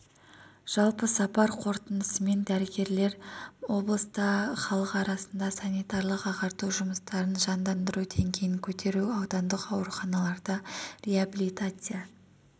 жалпы сапар қорытындысымен дәрігерлер облыста халық арасында санитарлық ағарту жұмыстарын жандандыру деңгейін көтеру аудандық ауруханаларда реабилитация